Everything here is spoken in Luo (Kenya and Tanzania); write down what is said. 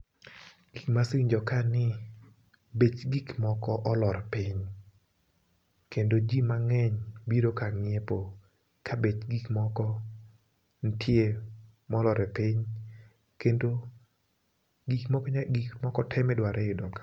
Gik mase winjo ka ni bech gik moko olor piny. Kendo ji mang'eny biro kang'iepo, kabech gik moko nitie molor piny kendo gik mo gik moko te midwaro iyudo ka.